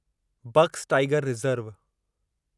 box tiger reserve